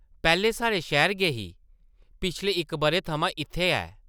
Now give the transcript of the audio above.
पैह्लें साढ़े शैह्र गै ही, पिछले इक बʼरे थमां इत्थै ऐ ।